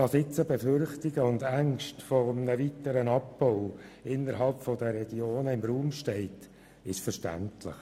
Dass jetzt Befürchtungen eines weiteren Abbaus in den Regionen im Raum stehen, ist verständlich.